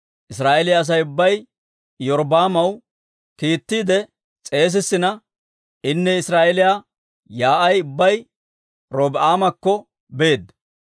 Israa'eeliyaa Asay ubbay Iyorbbaamaw kiittiide s'eesissina, inne Israa'eeliyaa yaa'ay ubbay Robi'aamakko beedda;